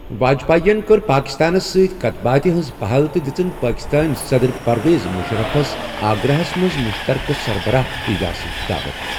واجپای ین کٔر پٲکِستانس سۭتۍ کَتھ باتھِ ہ‏نٛز پَہل تہٕ دِژٕن پٲکِستٲنۍ صدٕ‏‏‏‏‏ر پرویز مُشرَفس آگراہس منٛز مُشترکہ سربَراہ اِجلاسٕچ دعوت